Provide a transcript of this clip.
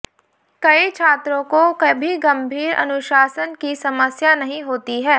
कई छात्रों को कभी गंभीर अनुशासन की समस्या नहीं होती है